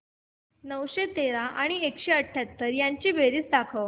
नऊशे तेरा आणि एकशे अठयाहत्तर यांची बेरीज दाखव